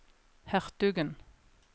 hertugen